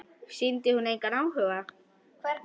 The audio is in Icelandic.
Sýndi hún þér engan áhuga?